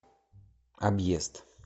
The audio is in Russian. объезд